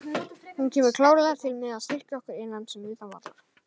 Hún kemur klárlega til með að styrkja okkur innan sem utan vallar.